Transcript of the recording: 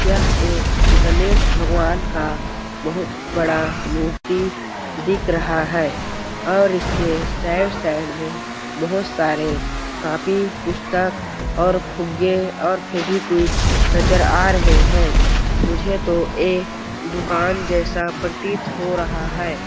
यह एक गणेश भगवान का बहुत बड़ा मूर्ति दिख रहा है और इसके सैड सैड में बहुत सारे कापी पुस्तक और फुग्गे और फेवीक्विक नज़र आ रहे है मुझे तो ये दुकान जैसा प्रतीत हो रहा है।